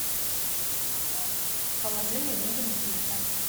положи мне деньги на телефон